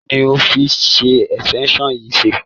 Kí ni o fi extension yìí ṣe?